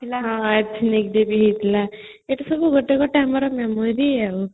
ହଁ athlete diary ହେଇଥିଲା ଏଟା ସବୁ ଗୋଟେ ଗୋଟେ ଆମର memory ଆଉ